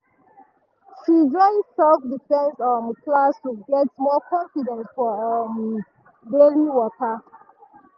she join self-defense um class to get more confidence for um daily waka.